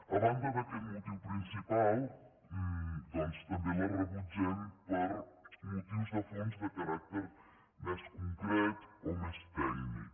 a banda d’aquest motiu principal doncs també la re·butgem per motius de fons de caràcter més concret o més tècnic